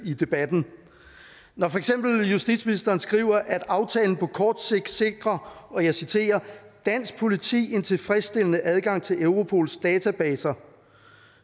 i debatten når for eksempel justitsministeren skriver at aftalen på kort sigt sikrer og jeg citerer dansk politi en tilfredsstillende adgang til europols databaser